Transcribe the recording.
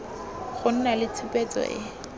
go nna le tshupetso e